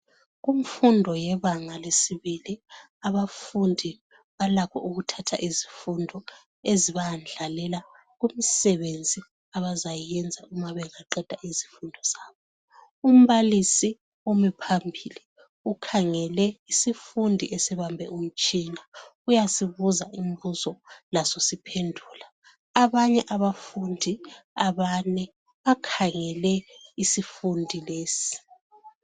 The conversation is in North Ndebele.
Kumfundo yebanga lesibili abafundi balakho ukuthatha izifundo ezibayendlalela kumisebenzi abazayenza uma bengaqeda izifundo zabo. Umbalisi umi phambili ukhangele isifundi esibambe umtshina uyasibuza imibuzo siphendula. Abanye abafundi abane bakhangele isifundi lesi.